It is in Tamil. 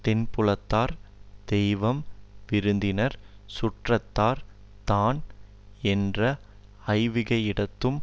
தென்புலத்தார் தெய்வம் விருந்தினர் சுற்றத்தார் தான் என்ற ஐவகையிடத்தும்